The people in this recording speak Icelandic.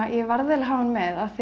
hann með af því